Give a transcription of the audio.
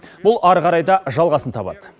бұл ары қарай да жалғасын табады